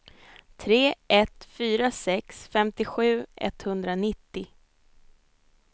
tre ett fyra sex femtiosju etthundranittio